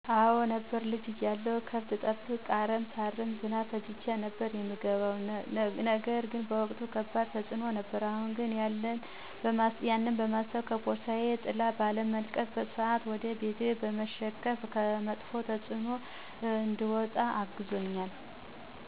አዎ ነበሩ። ልጅ እያለሁ ገብት ሰጠብቅ፣ አረም ሳርም ዝናቡን ፈጅቸው ነበር የምገባ ያ ነገር በወቅቱ ከባድ ተፅኖ ነበረው አሁን ያነ በማሰብ ከፖርሳየ ጥላ ባለመልቀቅና በስአት ወደ ቤቴ በመሸከፍ ከመጥፍ ተፅኖ እንድወጣ አግዞኛል።